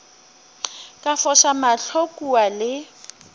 ka foša mahlo kua le